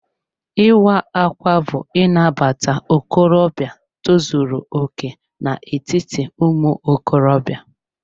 Ịwa ákwà bú Inabata okorobịa tozuru okè n'etiti ụmụ okorobịa.